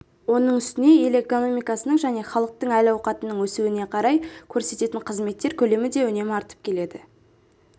оның үстіне ел экономикасының және халықтың әл-ауқатының өсуіне қарай көрсететін қызметтер көлемі де үнемі артып келеді